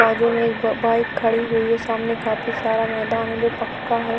बाजू में एक ब-बाइक खड़ी हुई है सामने में काफी सारा मैदान है जो पक्का है।